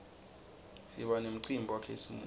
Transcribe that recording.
siba nemcimbi wakhisimusi